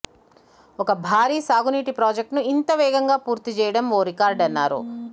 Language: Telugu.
ఒక భారీ సాగునీటి ప్రాజెక్టును ఇంత వేగంగా పూర్తిచేయడం ఓ రికార్డన్నారు